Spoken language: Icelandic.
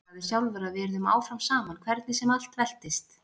Þú sagðir sjálfur að við yrðum áfram saman hvernig sem allt veltist.